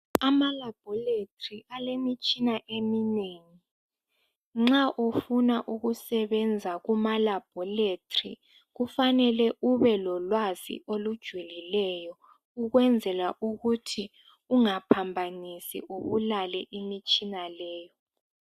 AlamaLab alemitshina eminengi nxa ufuna ukusebenza kumaLab kufane ubelolwazi olujulileyo ukwenzela ukuthi ungaphambasi ubalele imitshina leyi